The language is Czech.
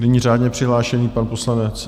Nyní řádně přihlášený pan poslanec...